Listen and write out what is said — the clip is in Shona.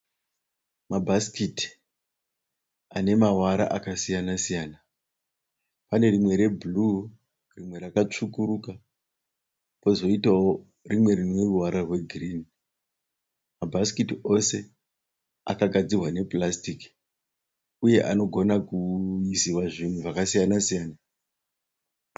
Mabhasikiti anemavara akasiyanasiyana. Panerimwe rebhuru rimwe rakasvukuruka pozoita wo rimwe rineruvara rwegirini. Mabhasikiti ose akagadzikwa nepurasitiki uye anogona ku yuziwa zvinhu zvakasiyansiyana.